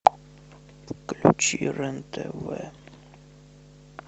включи рен тв